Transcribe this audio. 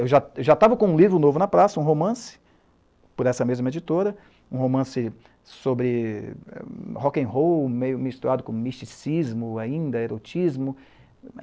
Eu já estava com um livro novo na praça, um romance, por essa mesma editora, um romance sobre rock'n'roll meio misturado com misticismo ainda, erotismo.